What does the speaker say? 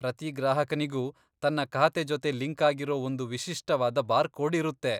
ಪ್ರತಿ ಗ್ರಾಹಕನಿಗೂ ತನ್ನ ಖಾತೆ ಜೊತೆ ಲಿಂಕ್ ಆಗಿರೋ ಒಂದು ವಿಶಿಷ್ಟವಾದ ಬಾರ್ಕೋಡ್ ಇರುತ್ತೆ.